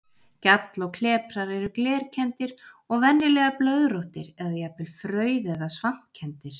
Gjall og kleprar eru glerkenndir og venjulega blöðróttir eða jafnvel frauð- eða svampkenndir.